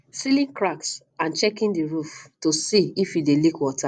sealing cracks and checking the roof to see if e dey leak water